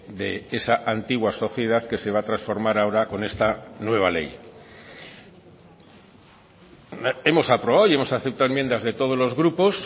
de esa antigua sociedad que se va a transformar ahora con esta nueva ley hemos aprobado y hemos aceptado enmiendas de todos los grupos